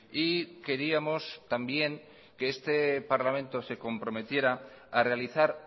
y queríamos también que este parlamento se comprometiera a realizar